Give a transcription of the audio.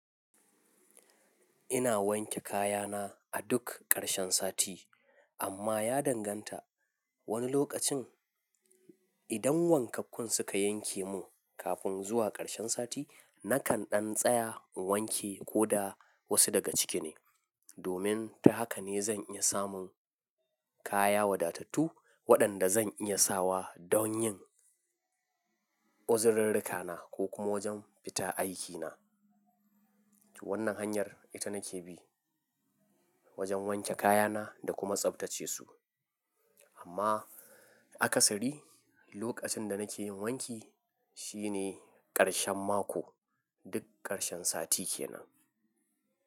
Ina wanke kayana a duk ƙarshen sati, amma ya danganta wani lokacin idan wankakkun suka yanke mun kafin zuwa ƙarshen sati, nakan ɗan tsaya in wanke ko da wasu daga cike ne domin ta haka ne zan iya samun kaya wadatattu, waɗanda zan iya sawa don yin uzurirrika na ko kuma wajen fita aikina. Wannan hanyar ita nake bi wajen wanke kayana da kuma tsabtace su. Amma akasari, lokacin da nake yin wanki shine ƙarshen mako, duk ƙarshen sati kenan.